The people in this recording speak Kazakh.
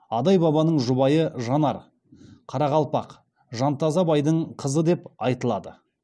адай бабаның жұбайы жанар қарақалпақ жантаза байдың қызы деп айтылады